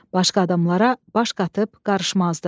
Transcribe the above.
Başqa adamlara baş qatıb qarışmazdı.